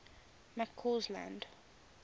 mccausland